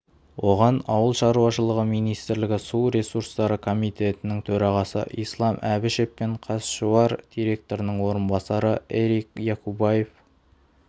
оған ауыл шаруашылығы министрлігі су ресурстары комитетінің төрағасы ислам әбішев пен қазсушар директорының орынбасары эрик якубаев